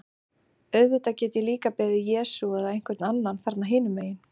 Auðvitað get ég líka beðið Jesú eða einhvern annan þarna hinum megin.